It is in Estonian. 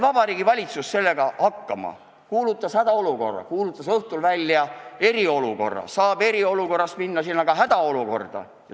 Vabariigi Valitsus sai hakkama: ta kuulutas välja hädaolukorra, kuulutas õhtul välja eriolukorra ja saab eriolukorrast minna tagasi ka hädaolukorda.